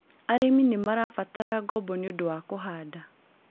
arĩmi nĩ marabatara ngobo nĩũndũ wa kũhanda.